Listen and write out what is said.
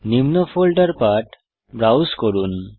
নিম্ন ফোল্ডার পাঠ ব্রাউজ করুন